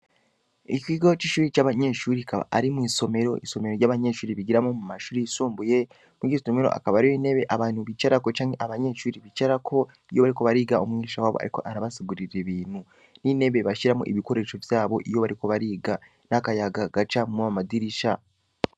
Ikigo c'ishuri c'abanyeshubri ikaba ari mw'isomero isomero ry'abanyeshuri bigiramo mu mashuri yisumbuye mugistomero akaba ario inebe abantu bicarako canke abanyeshubiri bicarako iyo bari ko bariga umwinsha wabo, ariko arabasugurira ibintu n'inebe bashiramo ibikoresho vyabo iyo bariko bariga n'akayaga gaca mob madirisha.